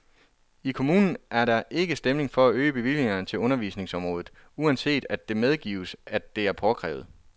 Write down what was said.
I kommunen er der ikke stemning for at øge bevillingerne til undervisningsområdet, uanset at det medgives, at det er påkrævet.